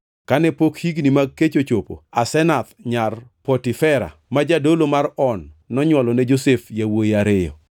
Kane pok higni mag kech ochopo, Asenath nyar Potifera ma jadolo mar On nonywolone Josef yawuowi ariyo.